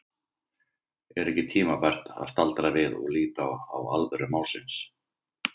Er ekki tímabært að staldra við og líta á alvöru málsins?